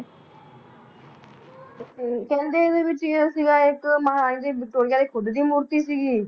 ਹਮ ਕਹਿੰਦੇ ਇਹਦੇ ਵਿੱਚ ਇਹ ਸੀਗਾ ਇੱਕ ਮਹਾਰਾਣੀ ਦੀ ਵਿਕਟੋਰੀਆ ਦੀ ਖੁੱਦ ਦੀ ਮੂਰਤੀ ਸੀਗੀ